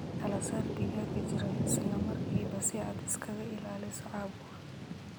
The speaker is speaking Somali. Kala saar digaaga jiran isla markiiba si aad isaga ilaaliso caabuqa.